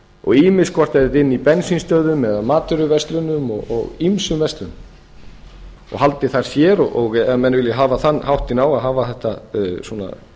og ýmist hvort þetta er inni í bensínstöðvum eða matvöruverslunum og ýmsum verslunum og haldið þar sér ef menn vilja hafa þann háttinn á að